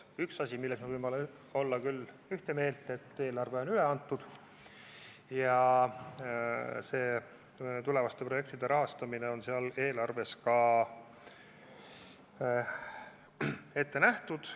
Üks asi, milles me võime küll ühte meelt olla, on see, et eelarve on üle antud ja tulevaste projektide rahastamine on eelarves ka ette nähtud.